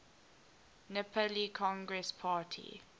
nepali congress party